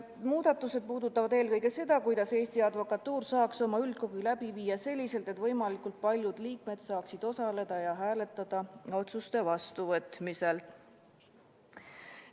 Muudatused puudutavad eelkõige seda, kuidas Eesti Advokatuur saaks oma üldkogu läbi viia selliselt, et võimalikult paljud liikmed saaksid osaleda ja hääletada otsuste vastuvõtmisel.